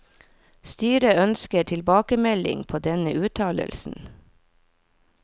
Styret ønsker tilbakemelding på denne uttalelsen.